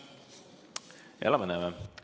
Elame, näeme.